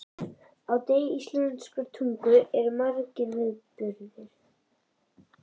Á degi íslenskrar tungu eru margir viðburðir.